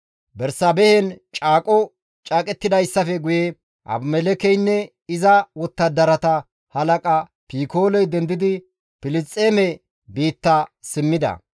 Bersaabehen caaqo caaqettidayssafe guye Abimelekkeynne iza wottadarata halaqa Pikooley dendidi Filisxeeme biitta simmida.